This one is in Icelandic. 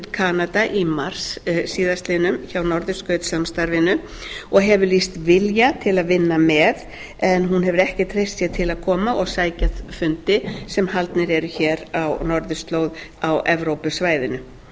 kanada í mars síðastliðinn hjá norðurskautssamstarfinu og hefur lýst vilja til að vinna með en hún hefur ekki treyst sér til að koma og sækja fundi sem haldnir eru hér á norðurslóð á evrópusvæðinu það